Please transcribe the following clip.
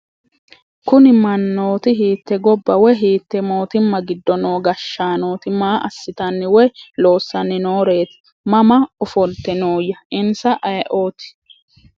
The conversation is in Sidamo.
Kunni manootti hiitte gobba woy hiitte moottimma giddo noo gashaanootti? Maa asittanni woy loosanni nooreetti? Mama ofolitte nooya? insa ayiootti ?